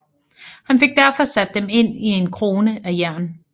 Han fik derfor sat dem ind i en krone af jern